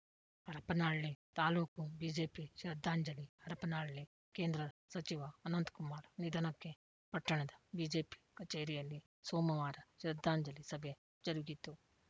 Harapanahalli taluk BJP ಶ್ರದ್ಧಾಂಜಲಿ ಹರಪನಹಳ್ಳಿ ಕೇಂದ್ರ ಸಚಿವ ಅನಂತಕುಮಾರ್‌ ನಿಧನಕ್ಕೆ ಪಟ್ಟಣದ ಬಿಜೆಪಿ ಕಚೇರಿಯಲ್ಲಿ ಸೋಮವಾರ ಶ್ರದ್ದಾಂಜಲಿ ಸಭೆ ಜರುಗಿತು